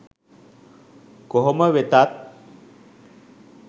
කොහොම වෙතත්